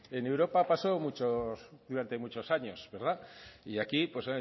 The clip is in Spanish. en europa pasó durante muchos años verdad y aquí pues